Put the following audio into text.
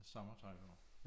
Sommertøj på